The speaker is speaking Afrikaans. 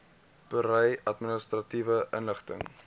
berei administratiewe inligting